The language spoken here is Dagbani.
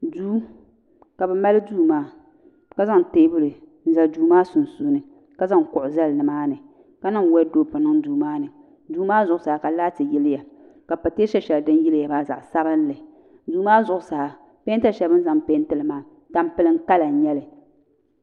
duu ka bɛ mali duu maa ka zaŋ teebuli n-zali duu maa sunsuuni ka zaŋ kuɣu zali ni maani ka niŋ wɔduropu niŋ duu maani duu maa zuɣusaa ka laati yiliya ka pateesa shɛli din yiliya maa zaɣ' sabilinli duu maa zuɣusaa peenta shɛli bɛ ni zaŋ peenti li maa tampilim kala n-nyɛ li